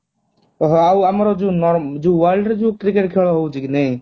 ଓଃ ହୋ ଆଉ ଆମର ଯୋଉ world ରେ ଯୋଉ cricket ଖେଳ ହେଉଛି କି ନାହିଁ?